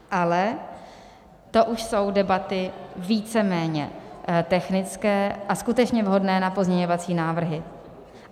Ale to už jsou debaty víceméně technické a skutečně vhodné na pozměňovací návrhy.